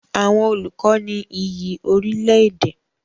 Àwọn olùkọ ní iyì orílẹ̀-èdè.